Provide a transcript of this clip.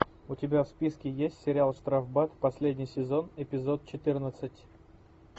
у тебя в списке есть сериал штрафбат последний сезон эпизод четырнадцать